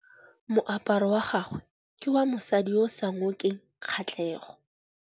Moaparô wa gagwe ke wa mosadi yo o sa ngôkeng kgatlhegô.